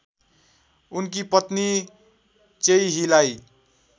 उनकी पत्नी चोइहीलाई